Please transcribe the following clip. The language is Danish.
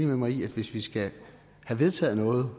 med mig i at hvis vi skal have vedtaget noget